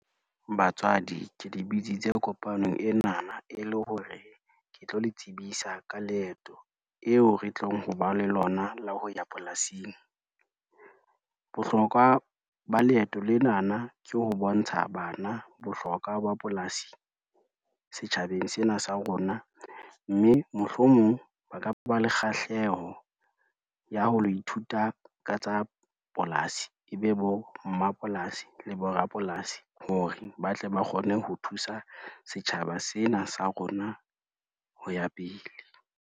Batswadi ke le bitsitse kopanong enana e le hore, ke tlo le tsebisa ka leeto eo re tlong hoba le lona la ho ya polasing. Bohlokwa ba leeto lenana ke ho bontsha bana bohlokwa ba polasi setjhabeng sena sa rona, mme mohlomong ba ka ba le kgahleho ya ho lo ithuta ka tsa polasi e be bommapolasi le borapolasi hore ba tle ba kgone ho thusa setjhaba sena sa rona ho ya pele.